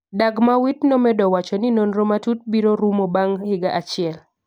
Dagmawit nomedo wacho ni nonro matut biro rumo bang’ higa achiel .